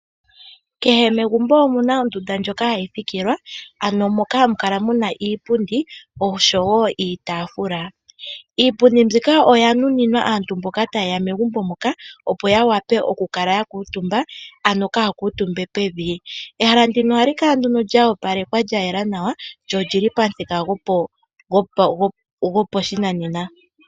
Kehe megumbo omuna ondunda ndjoka hayi thikilwa ano moka hamu kala muna iipundi osho woiitafula. Iipundi mbika oya nuninwa aantu mboka ta yeya megumbo moka opo ya wape okukala ya kutumba kaya kutumbe pevi. Ehala ndino ohali kala lya opalekwa lya yela nawa lyo olili pamuthika goposhinanena.